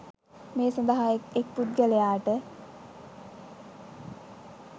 මේ සඳහා එක් එක් පුද්ගලයාට